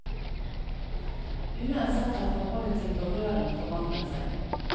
Uansett har forholdet til berøring forandret seg.